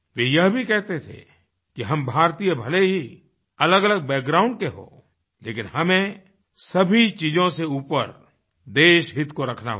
वे यह भी कहते थे कि हम भारतीय भले ही अलगअलग बैकग्राउंड के हों लेकिन हमें सभी चीज़ों से ऊपर देशहित को रखना होगा